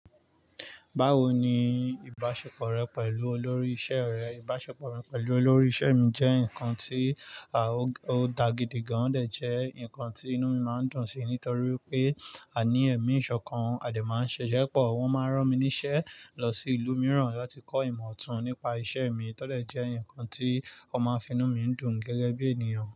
Báwo ni ìbáṣepọ̀ rẹ pẹ̀lú olórí iṣẹ́ rẹ? Ìbáṣepọ̀ mi pẹ̀lú olórí iṣẹ́ mi jẹ́ nǹkan tí, ó da gidi gan, ọ̀ jẹ́ nǹkan tí inú mi máa ń dùn sí, nítorí pé, àní ẹ̀mí ìṣọ̀kan a dẹ̀ máa ń ṣiṣẹ́ pọ̀. Wọ́n máa ń rán mi níṣẹ́ lọ sí ìlú mìíràn láti kọ́ ìmọ̀ ọ̀tún nípa iṣẹ́ mi, tọ́dẹ̀ jẹ́ nǹkan tí o ma n mu inú mi ń dùn gẹ́gẹ́ bí ènìyàn.